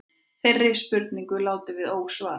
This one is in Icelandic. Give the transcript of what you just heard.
Þeirri spurningu látum við ósvarað.